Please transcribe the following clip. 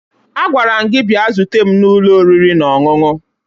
Agwara m gị bịa zute m n'ụlọ oriri na ọṅụṅụ!